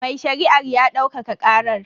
Mai shari'ar ya daukaka karar.